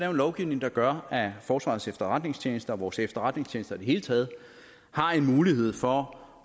en lovgivning der gør at forsvarets efterretningstjeneste og vores efterretningstjenester i det hele taget har mulighed for